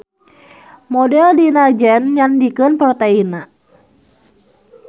Model dina gen nu nyandikeun proteinna.